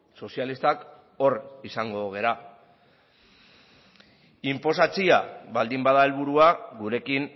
sozialistak hor izango gara inposatzea baldin bada helburua gurekin